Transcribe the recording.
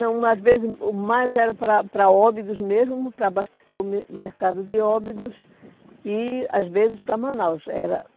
Não, às vezes o mais era para para Óbidos mesmo, para abastecer o mer mercado de Óbidos e às vezes para Manaus. Era